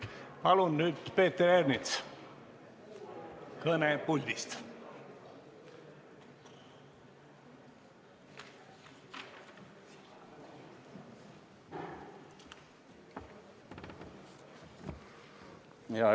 Palun nüüd, Peeter Ernits, kõne puldist!